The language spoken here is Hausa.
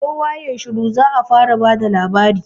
kowa yayi shiru za'a fara bada labari